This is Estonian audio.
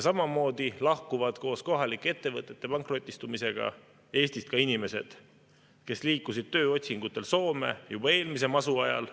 Samamoodi lahkuvad koos kohalike ettevõtete pankrotistumisega Eestist ka inimesed, kes liikusid tööotsingutel Soome juba eelmise masu ajal.